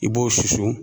I b'o susu